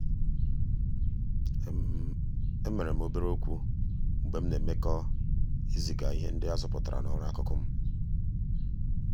emere m obere okwu mgbe m na-emekọ ịziga ihe ndị azụpụtara na ọrụ akụkụ m.